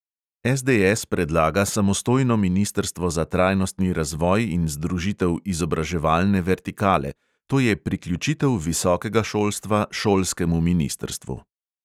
SDS predlaga samostojno ministrstvo za trajnostni razvoj in združitev izobraževalne vertikale, to je priključitev visokega šolstva šolskemu ministrstvu.